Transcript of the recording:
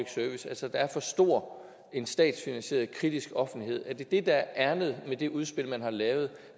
service altså at der er for stor en statsfinansieret kritisk offentlighed er det det der er ærindet med det udspil man har lavet